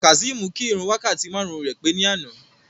Kazeem kí ìrun wákàtí márùn-ún rẹ̀ pé ní àná.